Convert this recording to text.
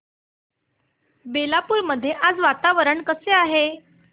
बेलापुर मध्ये आज वातावरण कसे आहे